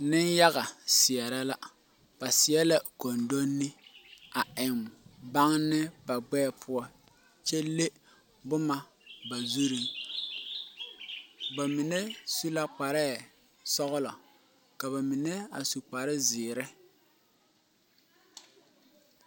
Niŋyaga seɛrɛ la ba seɛ la gondonne a eŋ baŋne ba gbɛɛ poɔ kyɛ le bomma ba zurreŋ ba mine su la kpareɛɛ sɔglɔ ka ba mine a su kparezeere.